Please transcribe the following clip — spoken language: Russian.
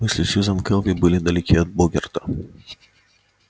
мысли сьюзен кэлвин были далеки от богерта